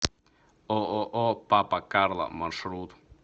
ооо папа карло маршрут